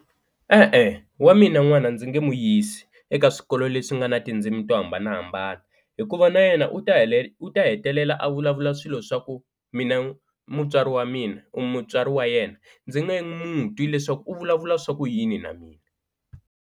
E-e wa mina n'wana ndzi nga n'wi yisi eka swikolo leswi nga na tindzimi to hambanahambana hikuva na yena u ta u ta hetelela a vulavula swilo swa ku mina mutswari wa mina, mutswari wa yena ndzi nga n'wu twi leswaku u vulavula swa ku yini na mina.